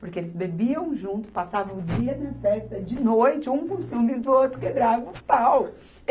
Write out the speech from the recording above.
Porque eles bebiam junto, passavam o dia na festa, de noite, um com ciúmes do outro, quebrava o pau.